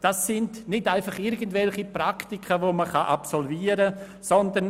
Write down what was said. Dies sind nicht einfach irgendwelche Praktika, welche man absolvieren kann;